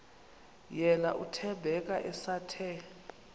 yena uthembeka esathe